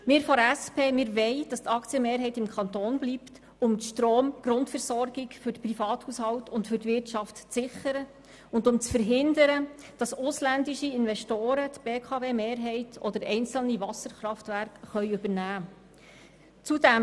Wir von der SP wollen, dass die Aktienmehrheit beim Kanton bleibt, um die Stromgrundversorgung für die Privathaushalte und die Wirtschaft zu sichern und zu verhindern, dass ausländische Investoren die BKW-Mehrheit oder einzelne Wasserkraftwerke übernehmen können.